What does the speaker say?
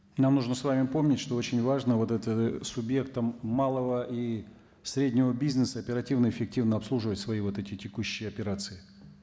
нам нужно с вами помнить что очень важно вот это субъектам малого и среднего бизнеса оперативно эффективно обслуживать свои вот эти текущие операции